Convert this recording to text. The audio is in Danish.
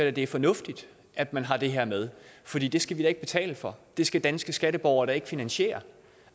at det er fornuftigt at man har det her med fordi det skal vi da ikke betale for det skal danske skatteborgere da ikke finansiere